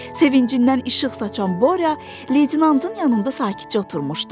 Sevincindən işıq saçan Borya leytenantın yanında sakitcə oturmuşdu.